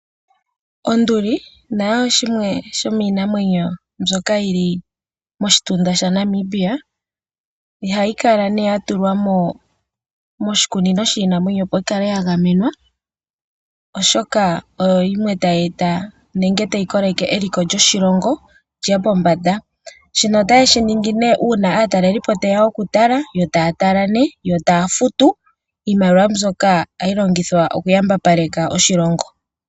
Onduli nayo oshimwe shomiinamwenyo mbyoka yi li moshitunda shaNamibia. Ohayi kala nduno ya tulwa moshikunino shiinamwenyo, opo yi kale ya gamenwa, oshoka oyo yimwe tayi koleke eliko lyoshilongo li ye pombanda. Shika otashi ningi nduno uuna aatalelipo taye ya okutala yo taya futu. Iimaliwa mbyoka ohayi longithwa okuyambapaleka oshilongo.